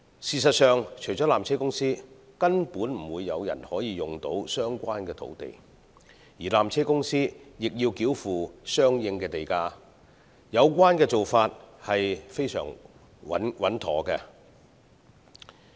事實上，除了纜車公司，根本不會有人可使用相關土地，而纜車公司亦須繳付相應地價，有關做法實非常穩妥。